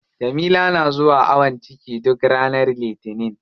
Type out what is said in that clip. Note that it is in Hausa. Jamila na zuwa awon ciki duk ranar litinin.